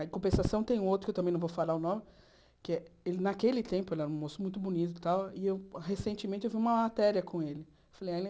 Em compensação, tem outro, que eu também não vou falar o nome, que ele naquele tempo ele era um moço muito bonito e tal, e recentemente eu vi uma matéria com ele. Fui